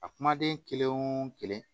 A kumaden kelen wo kelen